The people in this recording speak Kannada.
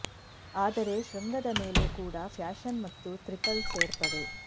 ಆದರೆ ಶೃಂಗದ ಮೇಲೆ ಕೂಡ ಫ್ಯಾಷನ್ ಮತ್ತು ಟ್ರಿಪಲ್ ಸೇರ್ಪಡೆ